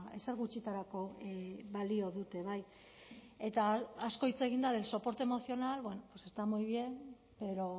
ezer gutxitarako balio dute bai eta asko hitz egin da del soporte emocional pues está muy bien pero